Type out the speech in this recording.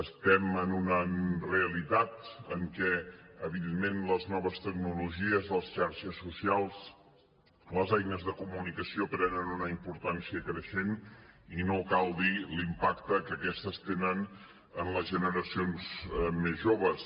estem en una realitat en què evidentment les noves tecnologies les xarxes socials les eines de comunicació prenen una importància creixent i no cal dir l’impacte que aquestes tenen en les generacions més joves